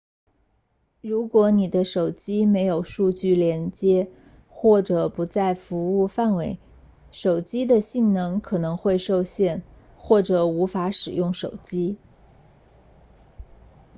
如果你的手机没有数据连接或者不在服务范围手机的性能可能会受限或者无法使用手机